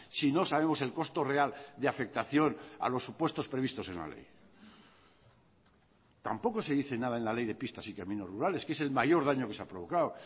si no sabemos el costo real de afectación a los supuestos previstos en la ley tampoco se dice nada en la ley de pistas y caminos rurales que es el mayor daño que se ha provocado